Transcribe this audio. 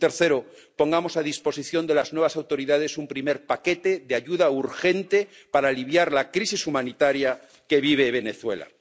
Y tercero pongamos a disposición de las nuevas autoridades un primer paquete de ayuda urgente para aliviar la crisis humanitaria que vive Venezuela.